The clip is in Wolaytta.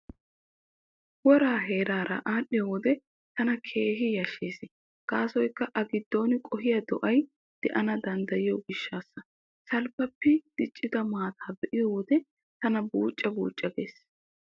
Woraa heeraara aadhdhiyo wode tana keehi yashshees gaasoykka a giddon qohiyaa do'ay daana danddayiyo gishshaassa. Salppappi diccida maataa be'iyo wode tana buucca buucca gees.